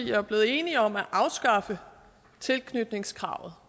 jo blevet enige om at afskaffe tilknytningskravet